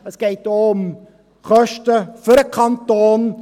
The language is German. Es geht auch um Kosten für den Kanton.